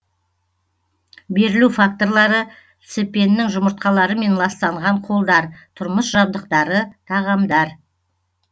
берілу факторлары цепеннің жұмыртқаларымен ластанған қолдар тұрмыс жабдықтары тағамдар